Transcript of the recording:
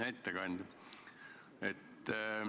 Hea ettekandja!